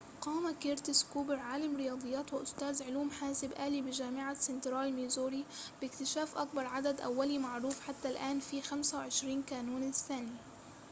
قام كيرتس كوبر عالم رياضيات وأستاذ علوم حاسب آلي بجامعة سنترال ميزوري باكتشاف أكبر عدد أولي معروف حتى الآن في 25 كانون الثاني